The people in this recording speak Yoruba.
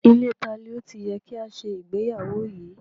Ilée tani ó ti yẹ ká ṣe ìgbéyàwó yìí?